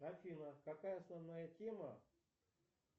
афина какая основная тема